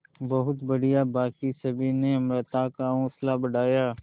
बहुत बढ़िया बाकी सभी ने अमृता का हौसला बढ़ाया